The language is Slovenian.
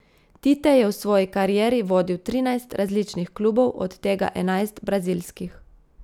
Tite je v svoji karieri vodil trinajst različnih klubov, od tega enajst brazilskih.